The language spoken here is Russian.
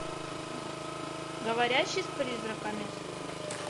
говорящий с призраками